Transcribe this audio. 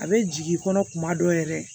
A bɛ jigin i kɔnɔ kuma dɔw yɛrɛ